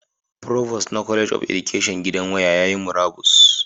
Provost na College of Education gidan waya yayi murabus